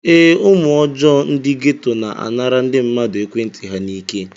Ee, ụmụ ọjọọ ndị geto na-anara ndị mmadụ ekwentị ha n'ike.